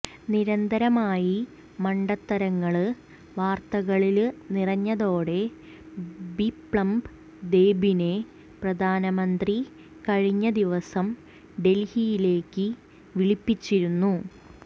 നിരന്തരമായി മണ്ടത്തരങ്ങള് വാര്ത്തകളില് നിറഞ്ഞതോടെ ബിപ്ലബ് ദേബിനെ പ്രധാനമന്ത്രി കഴിഞ്ഞ ദിവസം ഡല്ഹിയിലേക്ക് വിളിപ്പിച്ചിരുന്നു